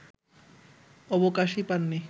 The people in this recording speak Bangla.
অবকাশই পাননি